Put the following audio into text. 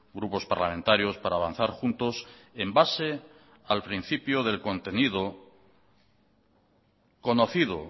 grupos parlamentarios para avanzar juntos en base al principio del contenido conocido